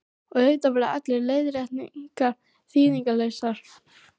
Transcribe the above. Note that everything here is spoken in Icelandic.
Og auðvitað voru allar leiðréttingar þýðingarlausar.